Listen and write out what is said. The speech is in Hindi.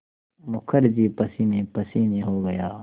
मुखर्जी पसीनेपसीने हो गया